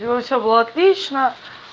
у него всё было отлично